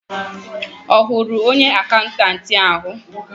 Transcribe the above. Ọ hụrụ onye akaụntanti ahụ?